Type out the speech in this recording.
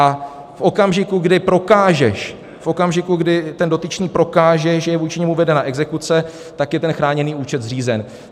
A v okamžiku, kdy prokážeš, v okamžiku, kdy ten dotyčný prokáže, že je vůči němu vedena exekuce, tak je ten chráněný účet zřízen.